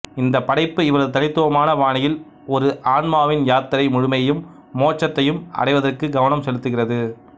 இந்த படைப்பு இவரது தனித்துவமான பாணியில் ஒரு ஆன்மாவின் யாத்திரை முழுமையையும் மோட்சத்தையும் அடைவதற்கு கவனம் செலுத்துகிறது